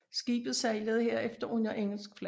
Skibet sejlede herefter under engelsk flag